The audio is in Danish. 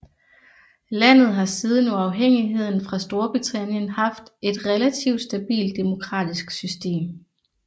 Landet har siden uafhængigheden fra Storbritannien haft et relativt stabilt demokratisk system